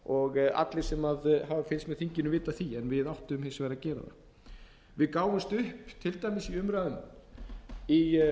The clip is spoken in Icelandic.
og allir sem hafa fylgst með þinginu vita af því en við áttum hins vegar að gera það við gáfumst upp til dæmis í umræðum í